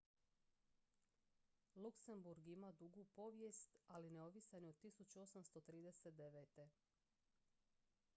luksemburg ima dugu povijest ali neovisan je od 1839